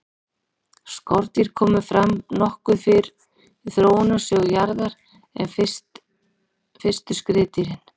skordýr komu fram nokkuð fyrr í þróunarsögu jarðar en fyrstu skriðdýrin